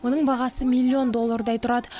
оның бағасы миллион доллардай тұрады